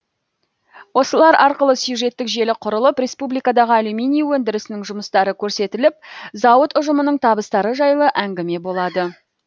осылар арқылы сюжеттік желі құрылып республикадағы алюминий өндірісінің жұмыстары көрсетіліп зауыт ұжымының табыстары жайлы әңгіме болады